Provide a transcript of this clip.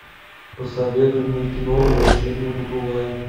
посоветуй мне кино возвращение будулая